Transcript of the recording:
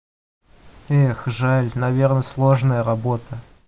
эх жаль наверное сложная работа